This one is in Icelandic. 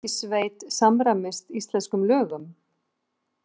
Öryggissveit samræmist íslenskum lögum